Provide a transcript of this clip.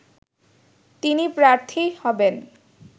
তিনি প্রার্থী হবেন